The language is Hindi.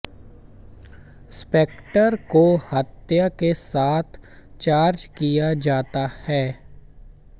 स्पेक्ट्रर को हत्या के साथ चार्ज किया जाता है